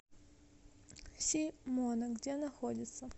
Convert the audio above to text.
си мона где находится